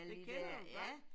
Det kender du godt?